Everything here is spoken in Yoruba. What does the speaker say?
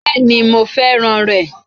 Béèni mo fẹ́ràn rè